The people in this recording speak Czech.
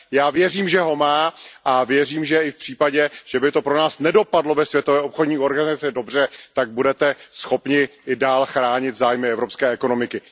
Já věřím, že ho má, a věřím, že i v případě, že by to pro nás nedopadlo ve Světové obchodní organizaci dobře, tak budete schopni i dál chránit zájmy evropské ekonomiky.